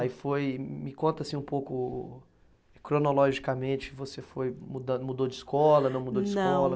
Aí foi, me conta assim um pouco, cronologicamente, você foi mudando, mudou de escola, não mudou de escola?